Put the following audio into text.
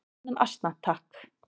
"""Annan asna, takk!"""